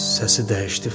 Səsi dəyişdi.